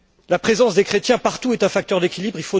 La présence des chrétiens partout est un facteur d'équilibre.